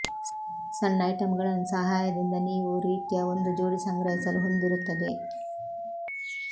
ಸಣ್ಣ ಐಟಂಗಳನ್ನು ಸಹಾಯದಿಂದ ನೀವು ರೀತ್ಯಾ ಒಂದು ಜೋಡಿ ಸಂಗ್ರಹಿಸಲು ಹೊಂದಿರುತ್ತದೆ